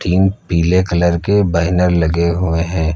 तीन पीले कलर के बैनर लगे हुए हैं।